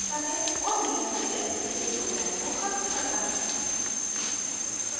और नियंत्रित तरीके से program को ख़त्म करता है